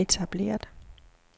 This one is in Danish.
etableret